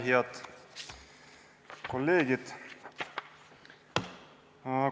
Head kolleegid!